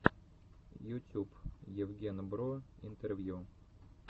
ютюб евген бро интервью